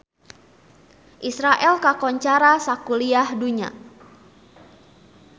Israel kakoncara sakuliah dunya